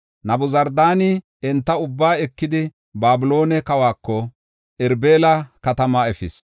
Nabuzardaani enta ubbaa ekidi, Babiloone kawako, Irbila katamaa efis.